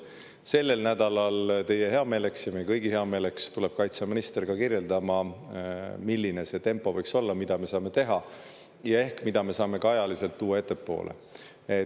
Sellel nädalal teie heameeleks ja meie kõigi heameeleks tuleb kaitseminister ka kirjeldama, milline see tempo võiks olla, mida me saame teha ja ehk mida me saame ka ajaliselt tuua ettepoole.